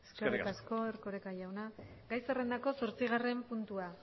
eskerrik asko eskerrik asko erkoreka jauna gai zerrendako zortzigarren puntua